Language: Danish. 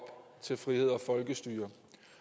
til frihed og folkestyre